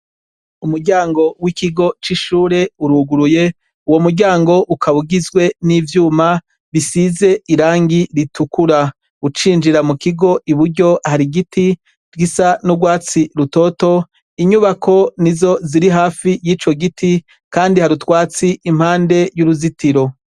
Umuryango wikigo cishure uruguruye uwo muryango ukaba ugizwe nivyuma risize irangi ritukura icinjira iburyo hari igiti gisa nurwatsi rutoto inyubako nizo ziri hafi yico giti kandi hari utwatsi impande yuruzitiro